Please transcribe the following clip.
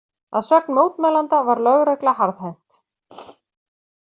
Að sögn mótmælenda var lögregla harðhent